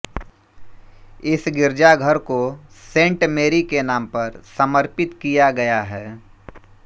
इस गिरजाघर को सेन्ट मेरी के नाम पर समर्पित किया गया है